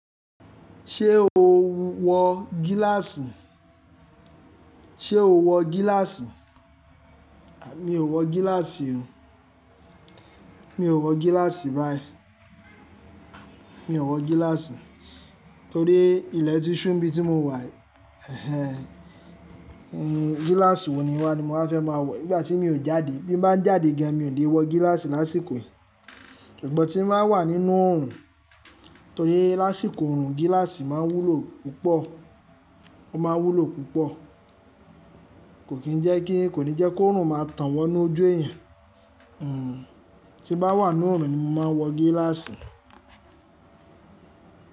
Ṣé o wọ gíláàsì? Ṣé o wọ gíláàsì? Mi ò wọ gíláàsì o. Mi ò wọ gíláàsì báyìí. Mi ò wọ gíláàsì torí ilẹ̀ tí Ṣúù nbí tí mo wà ẹhẹhẹ n gíláàsì wo ni wá ni mo fẹ́ máa wọ nìgbà tí mi ò jáde. Bí mo bá ń jáde gán mi ò lè wọ gíláàsì lásìkò yìí. Ṣùgbọ́n tí mo bá wà nínú oòrùn torí lásìkò oòrùn gíláàsì máa ń wúlo púpọ̀, ó máa ń wúlo púpọ̀. Kò kín jẹ́ kí kò ní jẹ́ kó oòrùn máa tàn wọ́nú ojú èèyàn. Hmm tí mo bá wà nínú oòrùn ni mo máa ń wọ gíláàsì.